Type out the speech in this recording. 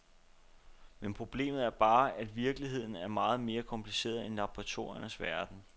Men problemet er bare, at virkeligheden er meget mere kompliceret end laboratoriernes verden.